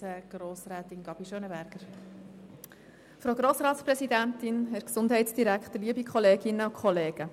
Für die SP-JUSO-PSA-Fraktion hat Grossrätin Gabi das Wort.